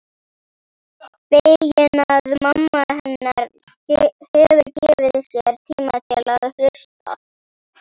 Fegin að mamma hennar hefur gefið sér tíma til að hlusta.